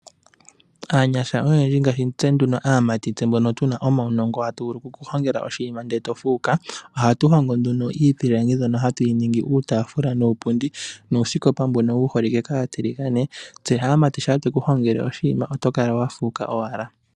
Aanyasha oyendji ngaashi tse nduno aamati, tse mbono tuna omaunongo, tatu vulu okuku hongela oshinima ndele to fuuka. Ohatu hongo nduno iipilangi mbyono hatu yi ningi uutafula nuupundi nuusikopa mbono wu holike kaatiligane. Tse aamati shampa tweku hongele oshinima oto kala wa fuuka owala.